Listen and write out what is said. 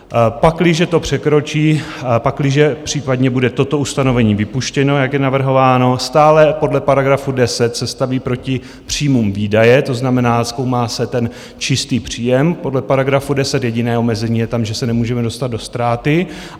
Pakliže to překročí, pakliže případně bude toto ustanovení vypuštěno, jak je navrhováno, stále podle paragrafu 10 se staví proti příjmům výdaje, to znamená, zkoumá se ten čistý příjem podle paragrafu 10, jediné omezení je tam, že se nemůžeme dostat do ztráty.